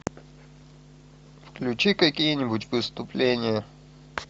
включи какие нибудь выступления